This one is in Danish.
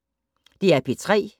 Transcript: DR P3